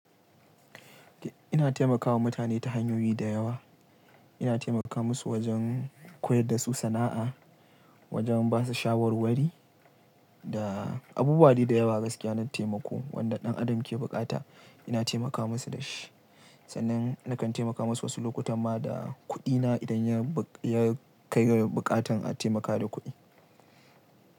Ina taimakawa mutane ta hanyoyi da yawa. Ina taimaka musu wajen koyar da su sana'a, wajen ba su shawarwari da abubuwa dai da yawa gaskiya na taimako wanda ɗan adam ke buƙata ina taimakawa musu da shi. Sannan nakan taimaka mu su wasu lokutan ma da kuɗina idan ya kai ga buƙatar a taimakawa da kuɗi.